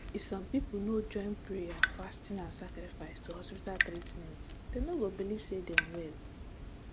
if some people no join prayer fasting and sacrifice to hospital treatment dem no go believe say dem well